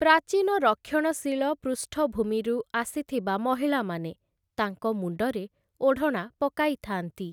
ପ୍ରାଚୀନ ରକ୍ଷଣଶୀଳ ପୃଷ୍ଠଭୂମିରୁ ଆସିଥିବା ମହିଳାମାନେ ତାଙ୍କ ମୁଣ୍ଡରେ ଓଢ଼ଣା ପକାଇଥାନ୍ତି ।